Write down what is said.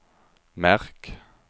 märk